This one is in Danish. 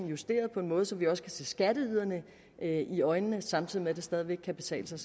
justeret på en måde så vi også kan se skatteyderne i øjnene samtidig med at det stadig væk kan betale sig